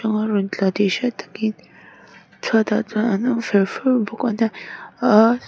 ruah a rawn tla tih hriat tak in chhuatah chuan an awm fer fur bawk a nia--